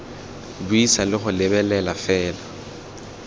buisa le go lebelela fela